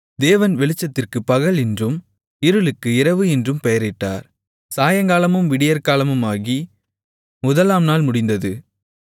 தேவன் வெளிச்சத்திற்குப் பகல் என்றும் இருளுக்கு இரவு என்றும் பெயரிட்டார் சாயங்காலமும் விடியற்காலமுமாகி முதலாம் நாள் முடிந்தது